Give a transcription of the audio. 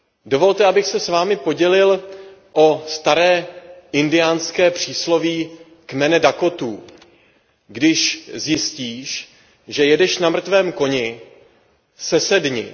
Dovolte, abych se s vámi podělil o staré indiánské přísloví kmene Dakotů Když zjistíš, že jedeš na mrtvém koni, sesedni.